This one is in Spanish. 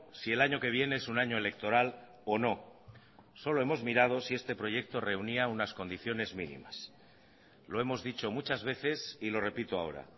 si el año que viene es un año electoral o no solo hemos mirado si este proyecto reunía unas condiciones mínimas lo hemos dicho muchas veces y lo repito ahora